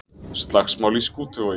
Slagsmál í Skútuvogi